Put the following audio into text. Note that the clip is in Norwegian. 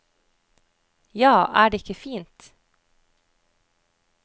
Ja, er det ikke fint.